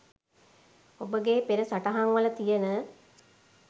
ඔබගේ පෙර සටහන් වල තියන